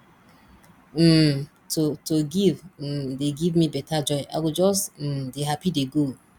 um to to give um dey give me beta joy i go just um dey happy dey go